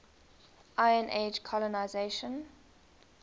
iron age colonisation